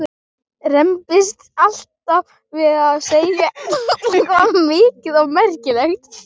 Rembist alltaf við að segja eitthvað mikið og merkilegt.